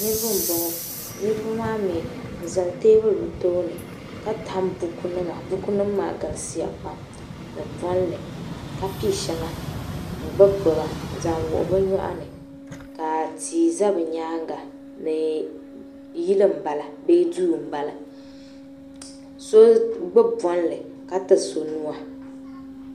Niriba m boŋɔ niriba maa mee bɛ zali teebuli bɛ tooni ka tam bukunima bukunima maa galisiya pam ni bolli ka piɛ sheba n gbibi gbiba n zaŋ wuhi bɛ nyɔɣuni ka tia za bɛ nyaanga ni yili m bala bee duu m bala so gbibi bolli ka ti so nua.